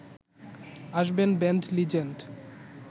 আসবেন band legend